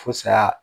Fo saya